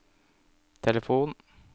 telefon